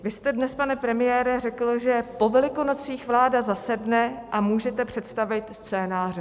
Vy jste dnes, pane premiére, řekl, že po Velikonocích vláda zasedne a můžete představit scénáře.